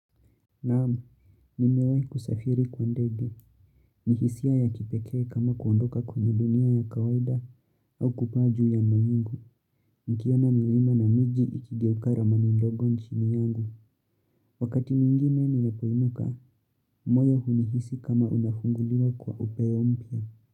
Naamu, nimewai kusafiri kwa ndege. Ni hisia ya kipekee kama kuondoka kwenye dunia ya kawaida au kupaa juu ya mawingu. Nikiona milima na miji ikigeuka ramani ndogo chini yangu. Wakati mwingine ninapoinuka, moyo hunihisi kama unafunguliwa kwa upeo mpya.